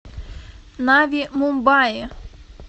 нави мумбаи